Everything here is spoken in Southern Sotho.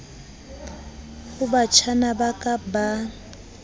ho batjhana ba ka ba